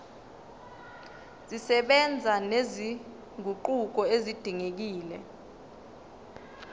zisebenza nezinguquko ezidingekile